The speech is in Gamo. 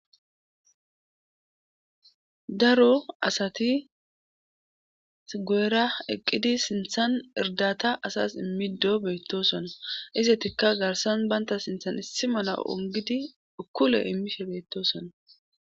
daro asati guuyera eqqidi sinthan irdata asas immiddo beettosona isetikka garsan banta sinthan issi mala ongidi ukkule imishe beettosona